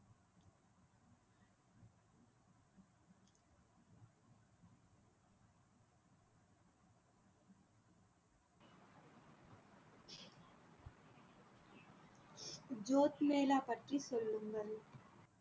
Jude mela பற்றி சொல்லுங்கள்